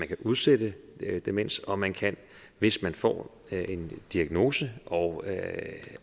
udsætte demens og man kan hvis man får en diagnose og